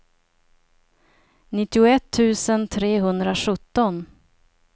nittioett tusen trehundrasjutton